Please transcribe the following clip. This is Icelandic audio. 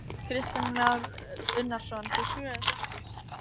Kristján Már Unnarsson: Þú trúir þessu ekki?